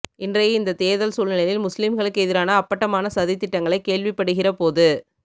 இன்றையை இந்த தேர்தல் சூழ்நிலையில் முஸ்லிம்களுக்கு எதிரான அப்பட்டமான சதித்திடங்களை கேள்விப்படுகிற போது